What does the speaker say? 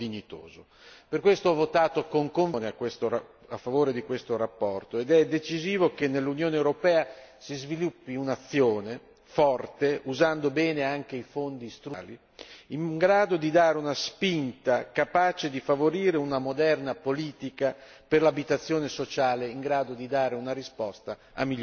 Per questo ho votato con convinzione a favore di questa relazione, ed è decisivo che nell'Unione europea si sviluppi un'azione forte, usando bene anche i fondi strutturali, in grado di dare una spinta capace di favorire una moderna politica per l'abitazione sociale in grado di dare una risposta a milioni di persone.